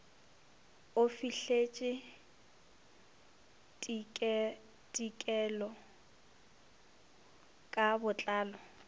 o fihleletše ditekolo ka botlalo